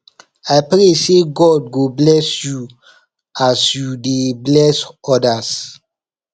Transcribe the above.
i pray sey god go bless you as you dey bless odas